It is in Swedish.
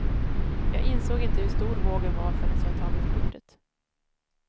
Jag insåg inte hur stor vågen var förrän jag tagit kortet.